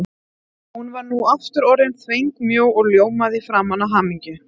Hún var nú aftur orðin þvengmjó og ljómaði í framan af hamingju.